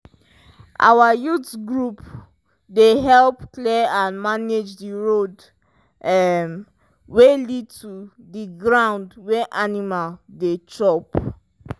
our youth group dey help clear and manage the road um wey lead to the ground wey animal dey chop.